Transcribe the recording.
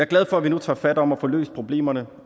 glad for at vi nu tager fat om at få løst problemerne